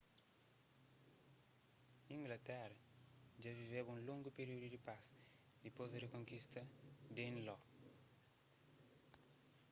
inglatera dja viveba un longu períudu di pas dipôs di rikonkista di danelaw